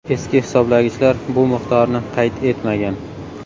Eski hisoblagichlar bu miqdorni qayd etmagan.